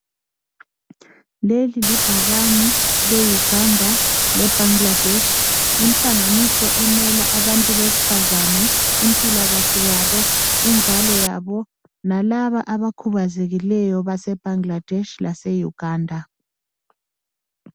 Leli libhakane leUganda, leBangladesh, inhlanganiso emela abantu besifazane, impilakahle yabo, inzalo yabo lalaba abakhubazekileyo base Bangladesh laseUganda.